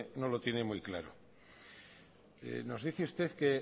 no lo tiene muy claro nos dice usted que